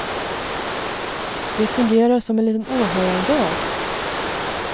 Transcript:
Det fungerar som en liten åhörardag.